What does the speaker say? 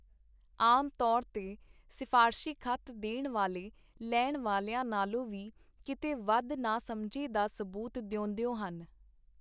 ਆਮ ਤੌਰ ਤੇ ਸਿਫਾਰਸ਼ੀ ਖਤ ਦੇਣ ਵਾਲੇ ਲੈਣ ਵਾਲਿਆਂ ਨਾਲੋਂ ਵੀ ਕੀਤੇ ਵਧ ਨਾਸਮਝੀ ਦਾ ਸਬੂਤ ਦੇਂਦੇ ਹਨ.